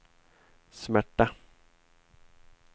smärta